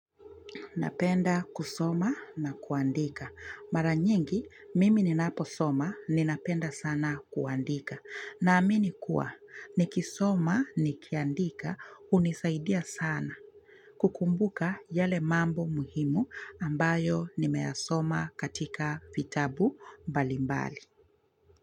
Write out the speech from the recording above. Napenda kusoma na kuandika. Mara nyingi, mimi ninaposoma, ninapenda sana kuandika. Naamini kuwa, nikisoma nikiandika, hunisaidia sana. Kukumbuka yale mambo muhimu ambayo nimeyasoma katika fitabu mbalimbali.